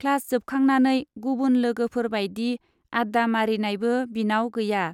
Class जोबखांनानै गुबुन लोगोफोर बाइदि आड्डा मारिनायबो बिनाव गैया।